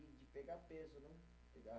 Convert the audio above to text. De pegar peso, né